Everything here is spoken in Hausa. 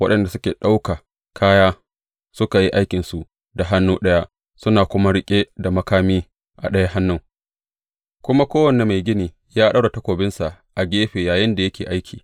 Waɗanda suke ɗaukan kaya suka yi aikinsu da hannu ɗaya, suna kuma riƙe da makami a ɗaya hannun, kuma kowane mai gini ya ɗaura takobinsa a gefe yayinda yake aiki.